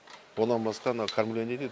одан басқа мына кормление дейді